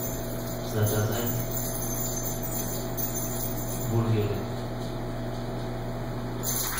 заказать бургеры